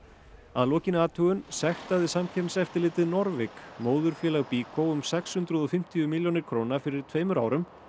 að lokinni athugun sektaði Samkeppniseftirlitið móðurfélag Byko um sex hundruð og fimmtíu milljónir króna fyrir tveimur árum